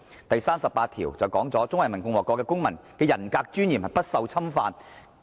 "；第三十八條則訂明："中華人民共和國公民的人格尊嚴不受侵犯。